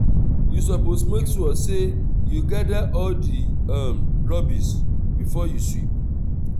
you suppose make sure sey you gather all di um rubbish before you sweep.